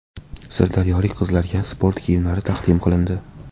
Sirdaryolik qizlarga sport kiyimlari taqdim qilindi.